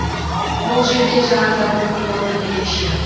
бұл жерде жаңа заводтың орны ерекше